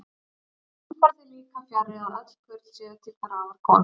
Enn fer því líka fjarri, að öll kurl séu til grafar komin.